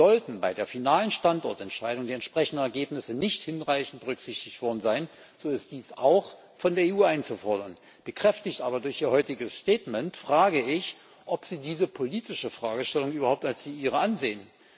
Sollten bei der finalen Standortentscheidung die entsprechenden Ergebnisse nicht hinreichend berücksichtigt worden sein, so ist dies auch von der EU einzufordern. Bekräftigt aber durch Ihr heutiges Statement frage ich, ob Sie diese politische Fragestellung überhaupt als die Ihre ansehen?